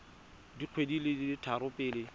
dikgwedi di le tharo pele